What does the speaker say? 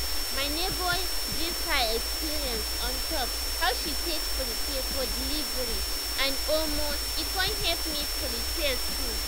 my neighbor gist her experience on top how she take prepare for delivery and omo e con help me prepare too